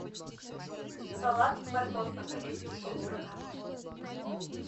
салат морковь по корейски пол килограмма